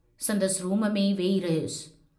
संदसि रूम में ई वेही रहयुसि।